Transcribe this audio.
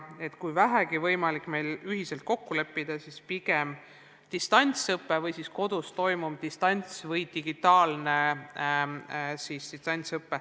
Kui meil on vähegi võimalik kokku leppida, siis kasutame pigem terminit "distantsõpe" või "kodus toimuv distants- või digitaalne distantsõpe".